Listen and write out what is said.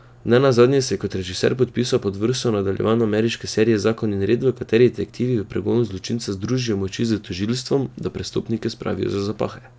Ne nazadnje se je kot režiser podpisal pod vrsto nadaljevanj ameriške serije Zakon in red, v kateri detektivi v pregonu zločincev združijo moči s tožilstvom, da prestopnike spravijo za zapahe.